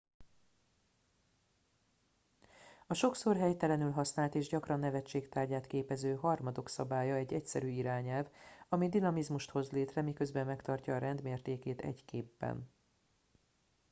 a sokszor helytelenül használt és gyakran nevetség tárgyát képező harmadok szabálya egy egyszerű irányelv ami dinamizmust hoz létre miközben megtartja a rend mértékét egy képben